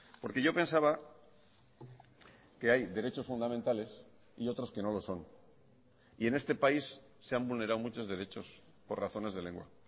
porque yo pensaba que hay derechos fundamentales y otros que no lo son y en este país se han vulnerado muchos derechos por razones de lengua